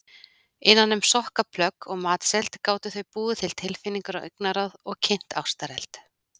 Innan um sokkaplögg og matseld gátu þau búið til tilfinningar og augnaráð og kynt ástareld.